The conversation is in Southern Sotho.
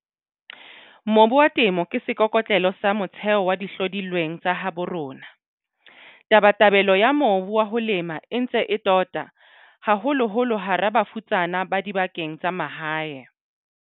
Mobu wa Temo ke seikoko tlelo sa motheo sa dihlodi lweng tsa habo rona. Tabatabelo ya mobu wa ho lema e ntse e tota, haholoholo hara bafutsana ba dibakeng tsa mahae.